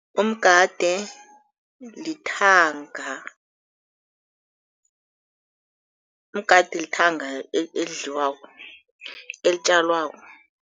Umgade lithanga. Umgade lithanga elidliwako, elitjalwako.